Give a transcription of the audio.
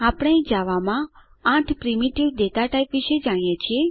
આપણે જાવામા 8 primitive data type વિશે જાણીએ છીએ